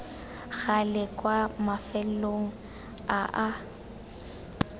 gale kwa mafelong a a